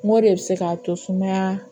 Mori bɛ se k'a to sumaya